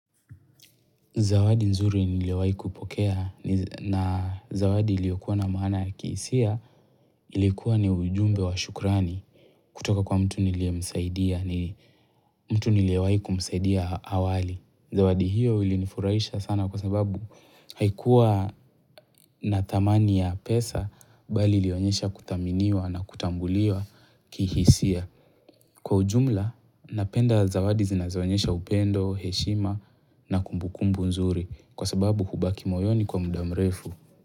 Zawadi nzuri niliyowai kupokea ni zawadi iliyokuwa na maana ya kihisia ilikuwa ni ujumbe wa shukrani kutoka kwa mtu niliyewai kumsaidia awali. Zawadi hiyo ilinifurahisha sana kwa sababu haikuwa na thamani ya pesa bali ilionyesha kuthaminiwa na kutambuliwa kihisia. Kwa ujumla, napenda zawadi zinazoonyesha upendo, heshima na kumbukumbu nzuri kwa sababu hubaki moyoni kwa mda mrefu.